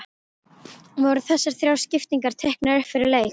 Voru þessar þrjár skiptingar teiknaðar upp fyrir leik?